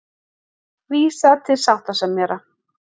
Vísa til sáttasemjara